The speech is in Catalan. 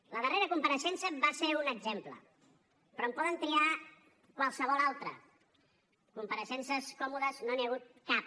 la darrera compareixença en va ser un exemple però en poden triar qualsevol altra de compareixences còmodes no n’hi ha hagut cap